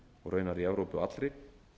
og raunar í evrópu allri